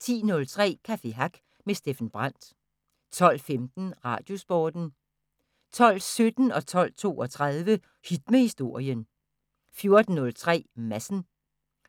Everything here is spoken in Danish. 10:03: Café Hack med Steffen Brandt 12:15: Radiosporten 12:17: Hit med Historien 12:32: Hit med Historien 14:03: Madsen